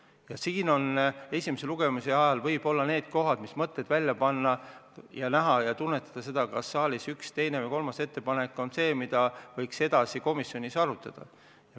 Ja esimese lugemise ajal võib mõelda ja püüda tunnetada, kas üks, teine või kolmas saalis kõlanud ettepanek on selline, mida võiks komisjonis edasi arutada.